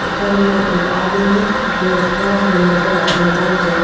एकर में एक आदमी जो घांस में लेटल ह मोबाइल चल --